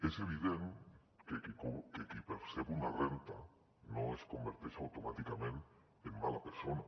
és evident que qui percep una renda no es converteix automàticament en mala persona